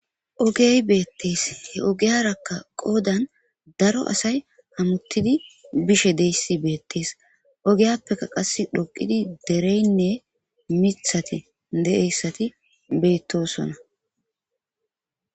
Ogey beettees he ogiyarakka qoodan daro asay hamuttidi bishe deyssi beettees ogiyappeka qas dhoqidi dereynne mithati de'eyssati beettosona